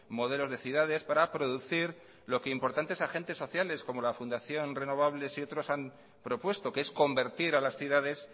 modelos de ciudades para producir lo que importantes agentes sociales como la fundación renovables y otros han propuesto que es convertir a las ciudades